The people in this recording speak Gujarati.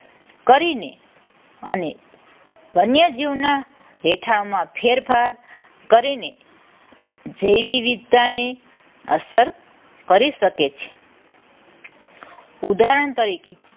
કરીને અને વન્ય જીવના રહેઠાણમાં ફેરફાર કરીને જૈવ વિવિધતાને અસર કરી શકે છે. ઉદાહરણ તરીકે